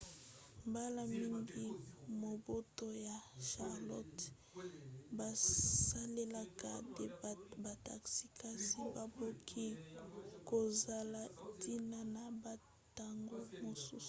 mbala mingi mabota ya charlotte basalelaka te bataxi kasi bakoki kozala ntina na bantango mosusu